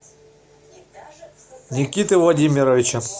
никиты владимировича